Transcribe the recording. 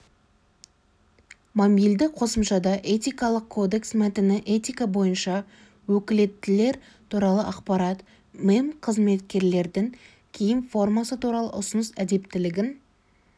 мобильді қосымшада этикалық кодекс мәтіні этика бойынша өкілеттілер туралы ақпарат мемқызметкерлердің киім формасы туралы ұсыныс әдептілігін